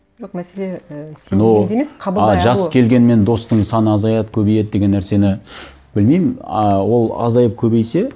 жоқ мәселе і но а жас келгенмен достың саны азаяды көбейеді деген нәрсені білмеймін ыыы ол азайып көбейсе